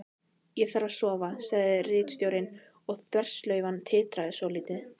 Ég þarf að sofa, sagði ritstjórinn og þverslaufan titraði svolítið.